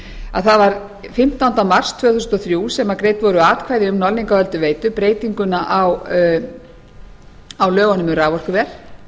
að það var fimmtándi mars tvö þúsund og þrjú sem greidd voru atkvæði um norðlingaölduveitu breytinguna á lögunum um raforkuver